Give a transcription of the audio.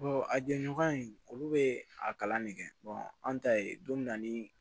a jɛɲɔgɔn in olu bɛ a kalan ne kɛ an ta ye don min na ni